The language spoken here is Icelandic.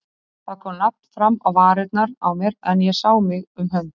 Það kom nafn fram á varirnar á mér, en ég sá mig um hönd.